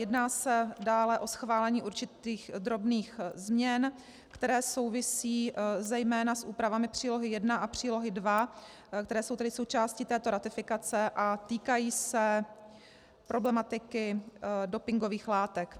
Jedná se dále o schválení určitých drobných změn, které souvisejí zejména s úpravami Přílohy I a Přílohy II, které jsou tedy součástí této ratifikace a týkají se problematiky dopingových látek.